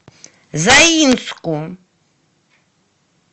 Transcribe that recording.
заинску